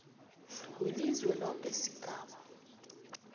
welizwe loke sigaba